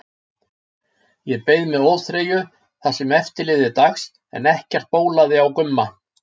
Ég beið með óþreyju það sem eftir lifði dags en ekkert bólaði á Gumma.